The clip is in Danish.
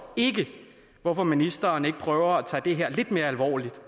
hvorfor ministeren ikke prøver at tage det her lidt mere alvorligt